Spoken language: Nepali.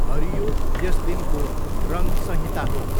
हरियो यस दिनको रङ्ग संहिता हो।